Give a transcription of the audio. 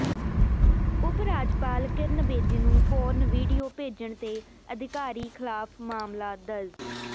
ਉਪ ਰਾਜਪਾਲ ਕਿਰਨ ਬੇਦੀ ਨੂੰ porn video ਭੇਜਣ ਤੇ ਅਧਿਕਾਰੀ ਖਿਲਾਫ ਮਾਮਲਾ ਦਰਜ